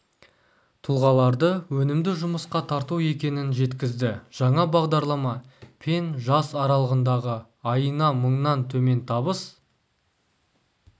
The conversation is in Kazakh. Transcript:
тұлғаларды өнімді жұмысқа тарту екенін жеткізді жаңа бағдарлама пен жас аралығындағы айына мыңнан төмен табыс